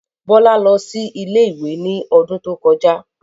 Bọ́lá lọ sí ilé-ìwé ní odún tó kọjá